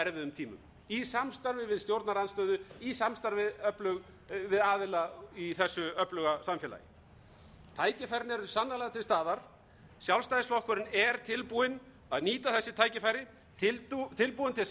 tímum í samstarfi við stjórnarandstöðu í samstarfi við aðila í þessu öfluga samfélagi tækifærin eru sannarlega til staðar sjálfstæðisflokkurinn er tilbúinn að nýta þessi tækifæri tilbúinn til samstarfs við